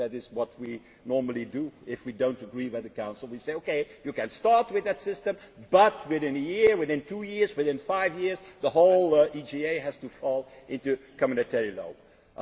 law. That is what we normally do if we do not agree with the Council, we say OK, you can start with that system, but within a year, within two years, within five years the whole EGA has to fall under community